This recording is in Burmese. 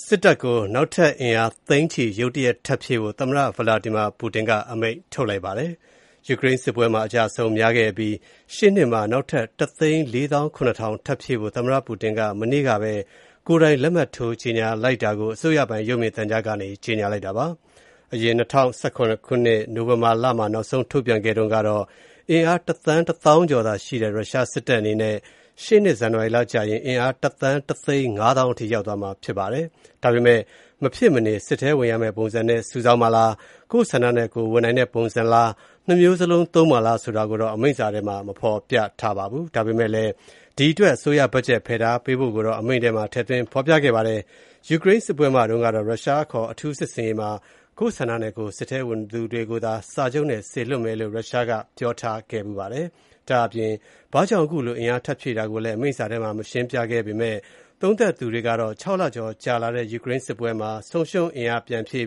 စစ်တပ်ကို နောက်ထပ်အင်အား သိန်းနဲ့ချီ ဖြည့်ဆည်းဖို့ သမ္မတ Vladimir Putin က အမိန့်ထုတ်လိုက်ပါတယ်။ ယူကရိန်းစစ်ပွဲမှာ အကျအဆုံးများခဲ့တဲ့ ရုရှားတပ်အတွက် ရှေ့နှစ်မှာ နောက်ထပ် ၁၃၇,၀၀၀ ထပ်ပြီးဖြည့်ဖို့ သမ္မ္မတ Putin က မနေ့ကပဲ ကိုယ်တိုင် လက်မှတ်ထိုးခဲ့တာကို အစိုးရပိုင် ရုပ်မြင်သံကြားကနေ ကြေညာလိုက်တာပါ။ အရင် ၂၀၁၇ ခုနှစ် နိုဝင်ဘာလမှာ နောက်ဆုံးထုတ်ပြန်ခဲ့တုံးက အင်အား တသန်း၊ တသောင်းကျော်ရှိတဲ့ ရုရှားတပ်အနေနဲ့ ရှေ့နှစ် ဇန်နဝါရီကျရင် အင်အား တသန်း တသိန်း ၅ သောင်းအထိ ရောက်သွားမှာဖြစ်ပါတယ်။ ဒါပေမယ့် မဖြစ်မနေဝင်ရမယ့်ပုံစံနဲ့ စုဆောင်းမှာလား၊ ကိုယ့်ဆန္ဒနဲ့ကိုယ်ဝင်နိုင်တဲ့ ပုံစံလား၊ ၂ မျိုးစလုံးသုံးမှာလားဆိုတာကိုတော့ အမိန့်စာထဲ ဖေါ်ပြမထားပါဘူး။ ဒါပေမယ့်လည်း ဒီအတွက် အစိုးရဘတ်ဂျက် ဖယ်ထားပေးဖို့တော့ ထည့်သွင်းဖော်ပြခဲ့ပါတယ်။ ယူကရိန်းစစ်ပွဲမှာတုန်းကတော့ ရုရှားအခေါ် အထူးစစ်ဆင်ရေးမှာ ကိုယ့်ဆန္ဒနဲ့ကိုယ် စစ်ထဲဝင်သူတွေကိုသာ စာချုပ်နဲ့ စေလွှတ်မယ်လို့ ရုရှားက ပြောထားခဲ့ဖူးပါတယ်။ ဒါ့အပြင် ဘာကြောင့် အခုလို အင်အားထပ်ဖြည့်တာကို အမိန့်စာထဲ ရှင်းပြမထားပေမယ့် ဒါဟာ ၆ လကျော်ကြာလာတဲ့ ယူကရိန်းစစ်ပွဲမှာ ဆုံးရှုံးသွားတဲ့ အင်အားကို ပြန်ဖြည့်